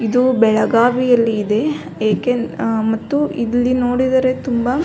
ಇದು ಬೆಳಗಾವಿಯಲ್ಲಿ ಇದೆ ಏಕೆ ಮತ್ತು ಇಲ್ಲಿ ನೋಡಿದರೆ ತುಂಬಾ --